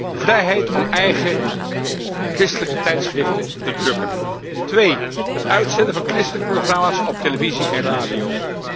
Ten eerste, vrijheid om eigen christelijke tijdschriften te drukken. Ten tweede, het uitzenden van christelijke programma's op televisie en radio.